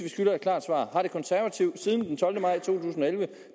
skylder et klart svar har de konservative siden den tolvte maj to tusind og elleve